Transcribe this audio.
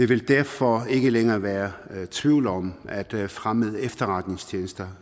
vil derfor ikke længere være tvivl om at fremmede efterretningstjenesters